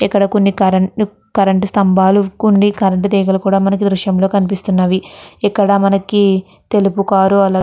ఇక్కడ కొన్ని current current స్తంభాలు కొన్ని కరెంట్ తీగలు కూడా మనకు దృశ్యం లో కనిపిస్తున్నాయ్ ఇక్కడ మనకి తెలుపు కార్ అలాగే --